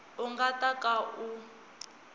u nga ta ka u